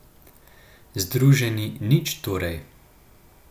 Združeni nič torej.